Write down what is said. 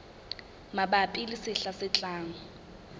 mabapi le sehla se tlang